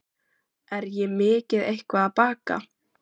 Er ég mikið eitthvað að baka?